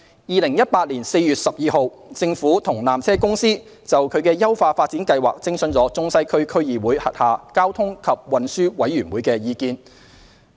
2018年4月12日，政府與纜車公司就其優化發展計劃徵詢中西區區議會轄下交通及運輸委員會的意見。